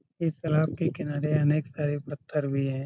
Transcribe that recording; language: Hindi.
इस तलाब के किनारे अनेक सारे पत्थर भी हैं।